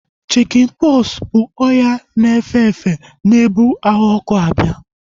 Chikin pọksi bụ ọrịa na-efe efe na-ebu ahụ ọkụ ọkụ abịa